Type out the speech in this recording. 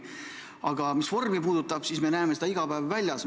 Aga mis vormi puutub, siis me näeme seda iga päev väljas.